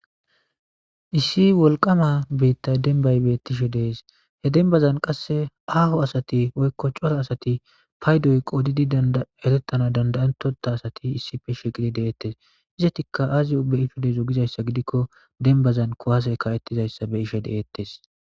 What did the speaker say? Issi wolqama beitta denbay beettishe dees he denbazan qasse aaho asati woykko cora asati paydoy qoodidi derettana dandayintota asati issife shiqidi deeettes izatikka aazi ubbeyitodezo gizayssa gidikko denbazan kuwaase ka7ettizayssa be ishe de7eettes.